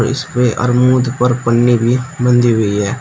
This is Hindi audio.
इसपे अर्मूद पर पन्नी भी बंधी हुई है।